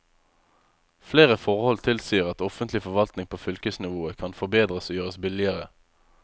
Flere forhold tilsier at offentlig forvaltning på fylkesnivået kan forbedres og gjøres billigere.